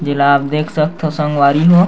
जेला आप देख सकथव संगवारी हो।